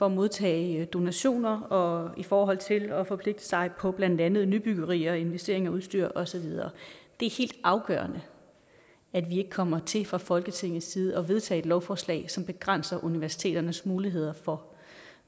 at modtage donationer og i forhold til at forpligte sig på blandt andet nybyggerier og investeringer i udstyr og så videre det er helt afgørende at vi ikke kommer til fra folketingets side at vedtage et lovforslag som begrænser universiteternes muligheder for